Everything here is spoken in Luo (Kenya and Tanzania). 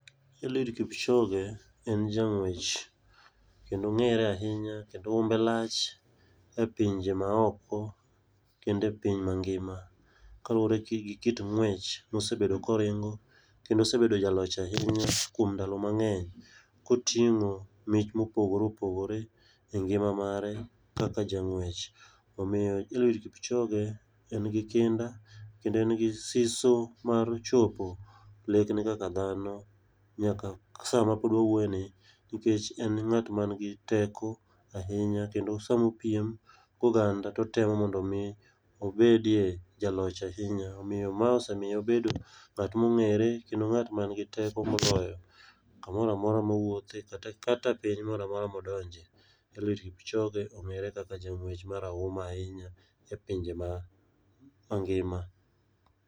Eliud Kipchoge en jang'wech, kendo ong'ere ahinya kendo umbe lach e pinje maoko kende piny mangima. Kaluwore gi ki kit ng'wech mosebedo koringo kendo osebedo jaloch ahinya kuom ndalo mang'eny, koting'o mich mopogore opogore e ngima mare kaka jang'wech. Omiyo Eliud Kipchoge en gi kinda kendo en gi siso mar chopo lek ne kaka dhano nyaka sa ma pod wawuoye ni. Nikech en ng'at man gi teko ahinya kendo samo piem go ganda totemo mondo mi obedie jaloch ahinya. Kendo ma osemiye obedo ng'at mong'ere kendo ng'at man gi teko moloyo kamoramora mowuothe kata piny moramora modonje. Eliud Kipchoge ong'ere kaka jang'wech marahuma ahinya a pinje ma mangima.